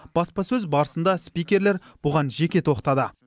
баспасөз барысында спикерлер бұған жеке тоқтады